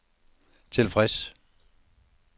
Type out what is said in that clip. tilfreds